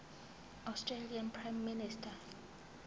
australian prime minister